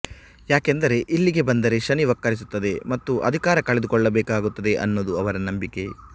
ಯಾಕೆಂದರೆ ಇಲ್ಲಿಗೆ ಬಂದರೆ ಶನಿ ವಕ್ಕರಿಸುತ್ತದೆ ಮತ್ತು ಅಧಿಕಾರ ಕಳೆದುಕೊಳ್ಳಬೇಕಾಗುತ್ತೆ ಅನ್ನೋದು ಅವರ ನಂಬಿಕೆ